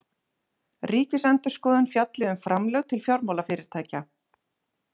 Ríkisendurskoðun fjalli um framlög til fjármálafyrirtækja